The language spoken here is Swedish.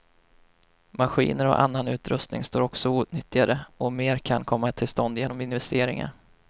Maskiner och annan utrustning står också outnyttjade, och mer kan komma till stånd genom investeringar.